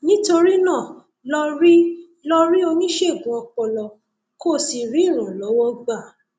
nítorí náà lọ rí lọ rí oníṣègùn ọpọlọ kó o sì rí ìrànlọwọ gbà